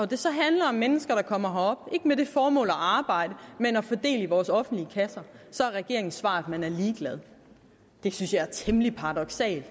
det så handler om mennesker der kommer herop ikke med det formål at arbejde men at få del i vores offentlige kasser så er regeringens svar at man er ligeglad det synes jeg er temmelig paradoksalt